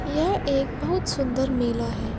यह एक बहुत सुन्दर मेला है।